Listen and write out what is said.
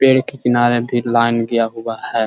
पेड़ के किनारे भी लाइन गया हुआ है।